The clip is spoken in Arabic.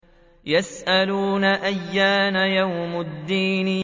يَسْأَلُونَ أَيَّانَ يَوْمُ الدِّينِ